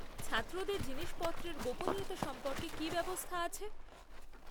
ছাত্রদের জিনিসপত্রের গোপনীয়তা সম্পর্কে কী ব্যবস্থা আছে?